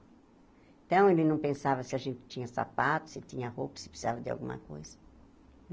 Então, ele não pensava se a gente tinha sapato, se tinha roupa, se precisava de alguma coisa.